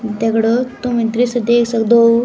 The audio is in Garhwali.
दगडियों तुम ये दृश्य देख सक्दो --